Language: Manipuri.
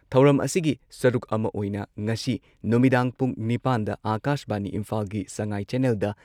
ꯊꯧꯔꯝ ꯑꯁꯤꯒꯤ ꯁꯔꯨꯛ ꯑꯃ ꯑꯣꯏꯅ ꯉꯁꯤ ꯅꯨꯃꯤꯗꯥꯡ ꯄꯨꯡ ꯅꯤꯄꯥꯟꯗ ꯑꯥꯀꯥꯁꯕꯥꯅꯤ ꯏꯝꯐꯥꯜꯒꯤ ꯁꯉꯥꯏ ꯆꯦꯟꯅꯦꯜꯗ